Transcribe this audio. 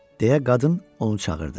deyə qadın onu çağırdı.